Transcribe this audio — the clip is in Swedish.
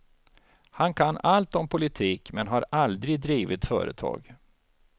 Han kan allt om politik men har aldrig drivit företag.